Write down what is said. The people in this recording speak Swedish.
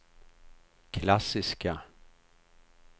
klassiska